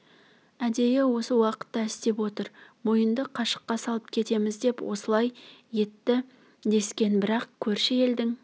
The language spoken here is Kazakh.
әдейі осы уақытта істеп отыр мойынды қашыққа салып кетеміз деп осылай етті дескен бірақ көрші елдің